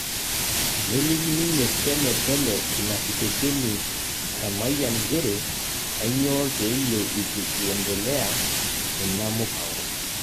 Neliki ninye Semepele inakitesheni e mayian njere kanypooo peyieu itu iendelea ina mupango.